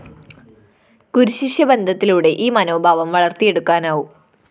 ഗുരുശിഷ്യ ബന്ധത്തിലൂടെ ഈ മനോഭാവം വളര്‍ത്തിയെടുക്കാനാവും